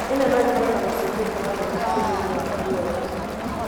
Ino no ĩkoro na macũngĩrĩra manene mũtũrĩre-inĩ waku wothe.